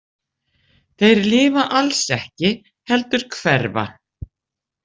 Þeir lifa alls ekki heldur hverfa.